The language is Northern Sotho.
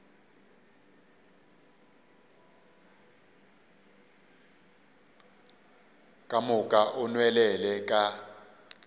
ka moka o nwelele ka